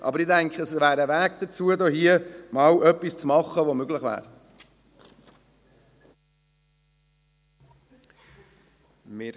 Aber, ich denke, es wäre ein Weg dazu, etwas zu machen, das möglich wäre.